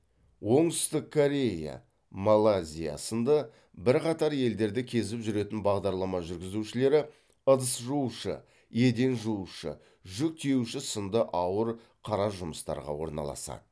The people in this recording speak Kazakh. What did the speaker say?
оңтүстік корея малайзия сынды бірқатар елдерді кезіп жүретін бағдарлама жүргізушілері ыдыс жуушы еден жуушы жүк тиеуші сынды ауыр қара жұмыстарға орналасады